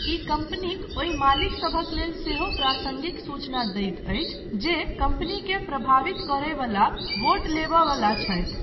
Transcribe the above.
ई कम्पनीक ओहि मालिकसभक लेल सेहो प्रासङ्गिक सूचना दैत अछि जे कम्पनीकेँ प्रभावित करय बला वोट लेबय बला छथि।